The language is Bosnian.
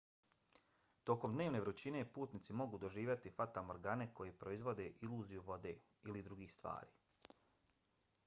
tokom dnevne vrućine putnici mogu doživjeti fatamorgane koje proizvode iluziju vode ili drugih stvari